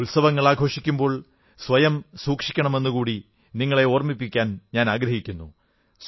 ഉത്സവങ്ങൾ ആഘോഷിക്കുമ്പോൾ സ്വയം സൂക്ഷിക്കണമെന്നുകൂടി നിങ്ങളെ ഓർമ്മിപ്പിക്കാനാഗ്രഹിക്കുന്നു